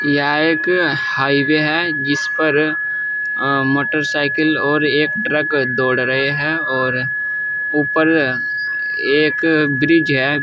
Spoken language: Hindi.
यह एक हाईवे है जिस पर मोटरसाइकिल और एक ट्रक दौड़ रहे हैं और ऊपर एक ब्रिज है।